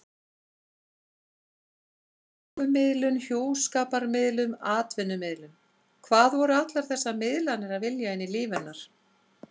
Leigumiðlun, hjúskaparmiðlun, atvinnumiðlun: hvað voru allar þessar miðlanir að vilja inn í líf hennar?